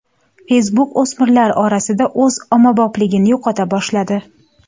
Facebook o‘smirlar orasida o‘z ommabopligini yo‘qota boshladi.